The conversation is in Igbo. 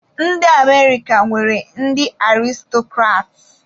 Ndị Amerika nwere ndị Aristọkrats.